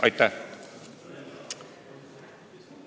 Aitäh!